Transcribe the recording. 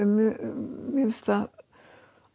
mér finnst það